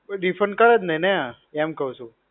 કોઈ defend કરે જ નઈ ને આ. એમ કઉં છું.